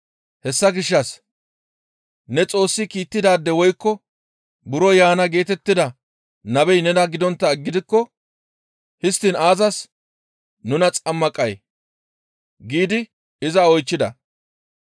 hessa gishshas, «Ne Xoossi kiittidaade woykko buro yaana geetettida nabey nena gidonttaa gidikko histtiin aazas nuna xammaqay?» giidi iza oychchida.